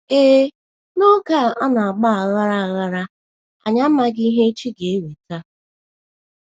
Ee, n’oge a na - agba aghara, aghara, anyị amaghị ihe echi ga - eweta.